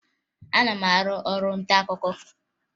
Ana m arụ ọrụ ntaakụkọ